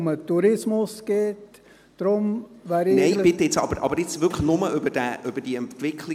Kommissionssprecher der SiK-Mehrheit.